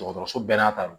Dɔgɔtɔrɔso bɛɛ n'a ta don